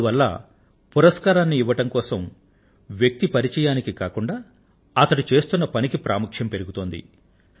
ఇందువల్ల పురస్కారాన్ని ఇవ్వడం కోసం వ్యక్తి పరిచయానికి కాకుండా అతడు చేస్తున్న పని ప్రాముఖ్యం పెరుగుతోంది